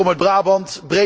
Ik kom uit Brabant